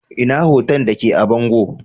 Ina hoto da ke a bango?